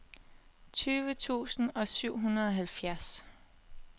tyve tusind og syvoghalvfjerds